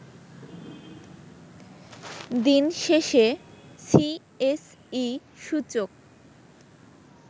দিন শেষেসিএসই সূচক